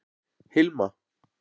Hilma